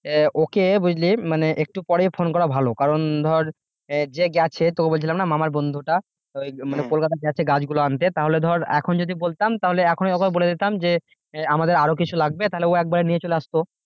আহ okay বুঝলি মানে একটু পরে ফোন করাই ভালো কারন ধর যে গেছে তোকে বলছিলাম না মামার বন্ধুটা মানে কলকাতা গেছে গাছগুলো আনতে তাহলে ধর এখন যদি বলতাম তাহলে এখনই ওকে বলে দিতাম যে আমাদের আরো কিছু লাগবে তাহলে ও একবারে নিয়ে চলে আসতো।